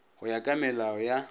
go ya ka melao ya